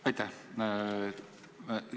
Aitäh!